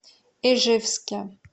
ижевске